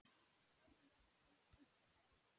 Þitt örverpi Óskar.